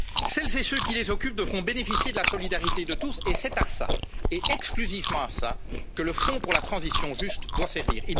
Celles et ceux qui les occupent devront bénéficier de la solidarité de tous et c'est à cela, et exclusivement à cela, que le fonds pour la transition juste doit servir.